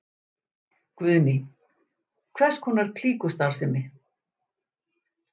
Guðný: Hvers konar klíkustarfsemi?